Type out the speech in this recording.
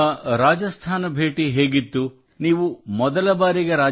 ನಿಮ್ಮ ರಾಜಸ್ಥಾನ ಭೇಟಿ ಹೇಗಿತ್ತು ನೀವು ಮೊದಲ ಬಾರಿಗೆ